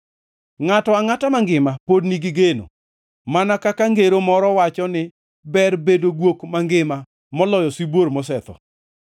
Ngʼato angʼata mangima pod nigi geno, mana kaka ngero moro wacho ni ber bedo guok mangima moloyo sibuor mosetho!